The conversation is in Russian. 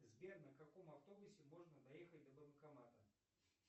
сбер на каком автобусе можно доехать до банкомата